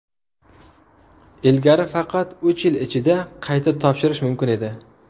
Ilgari faqat uch yil ichida qayta topshirish mumkin edi.